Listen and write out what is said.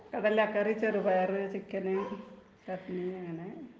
കടല കറി ,ചെറുപയർ ,ചിക്കൻ ,ചട്ടിണി അങ്ങനെ